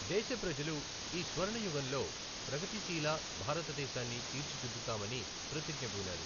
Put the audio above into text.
దేశ ప్రజలు ఈ స్వర్ణ యుగంలో ప్రగతిశీల భారతదేశాన్ని తీర్చిదిద్దుతామని ప్రతిజ్ఞబూనారు.